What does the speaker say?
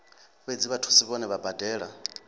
fhedzi vhathusi vhohe vha badela